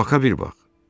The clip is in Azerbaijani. Baka bir bax!